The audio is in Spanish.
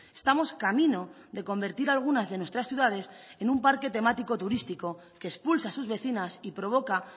estamos camino de convertir algunas de nuestras ciudades en un parque temático turístico que expulsa a sus vecinas y provoca